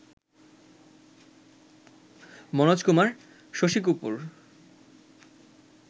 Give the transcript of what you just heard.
Manoj Kumar, Shashi Kapoor